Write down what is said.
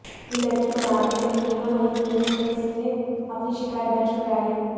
यह लड़की बनारस चली गई और वहीं पुलिस में इसने अपनी शिकायत दर्ज कराई